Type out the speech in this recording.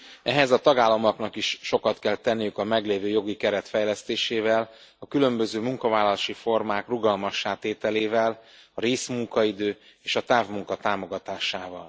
Ehhez a tagállamoknak is sokat kell tenniük a meglévő jogi keret fejlesztésével, a különböző munkavállalási formák rugalmassá tételével, a részmunkaidő és a távmunka támogatásával.